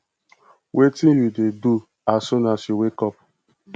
wetin you dey do as soon as you wake up